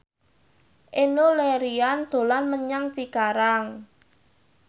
Enno Lerian dolan menyang Cikarang